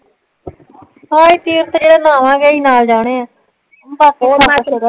ਹਾ ਨਾਵਾਂਗੇ ਹੀ ਨਾਲ ਜਾਣੇ ਆ ਬਾਕੀ